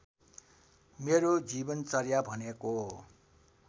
मेरो जीवनचर्या भनेको